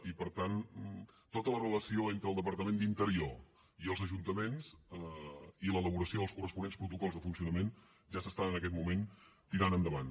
i per tant tota la relació entre el departament d’interior i els ajuntaments i l’elaboració dels corresponents protocols de funcionament ja s’estan en aquest moment tirant endavant